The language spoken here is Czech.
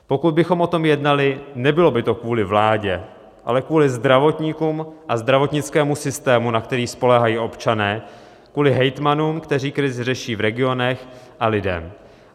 Pokud bychom o tom jednali, nebylo by to kvůli vládě, ale kvůli zdravotníkům a zdravotnickému systému, na který spoléhají občané, kvůli hejtmanům, kteří krizi řeší v regionech, a lidem.